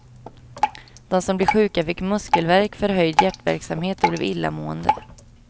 De som blev sjuka fick muskelvärk, förhöjd hjärtverksamhet och blev illamående.